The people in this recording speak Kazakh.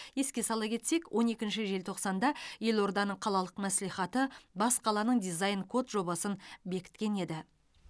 еске сала кетсек он екінші желтоқсанда елорданың қалалық мәслихаты бас қаланың дизайн код жобасын бекіткен еді